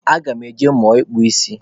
Aga m eje ịmụ ịkpa isi.